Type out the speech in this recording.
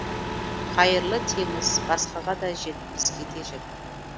қайырлы теңіз басқаға да жет бізге де